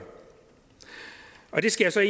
det skal jeg